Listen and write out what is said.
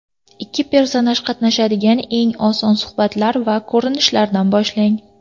Ikki personaj qatnashadigan eng oson suhbatlar va ko‘rinishlardan boshlang.